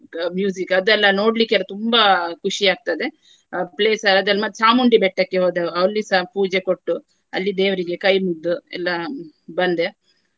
Music ಅದೆಲ್ಲ ನೋಡ್ಲಿಕ್ಕೆಲ್ಲ ತುಂಬಾ ಖುಷಿಯಾಗ್ತದೆ place ಎಲ್ಲ. ಅದನ್ನು ಮತ್ತೆ ಚಾಮುಂಡಿ ಬೆಟ್ಟಕ್ಕೆ ಹೋದೆವು. ಅಲ್ಲಿಸ ಪೂಜೆ ಕೊಟ್ಟು ಅಲ್ಲಿ ದೇವರಿಗೆ ಕೈ ಮುಗಿದು ಎಲ್ಲಾ ಬಂದೆ.